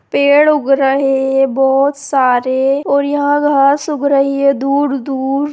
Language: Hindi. पेड़ उग रहे है बहुत सारे और यहाँ घास उग रही है दूर-दूर।